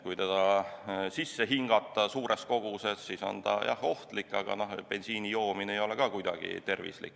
Kui seda suures koguses sisse hingata, siis on see, jah, ohtlik, aga bensiini joomine ei ole ka kuidagi tervislik.